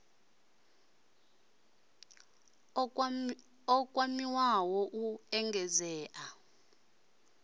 d o kwamiwa u engedzea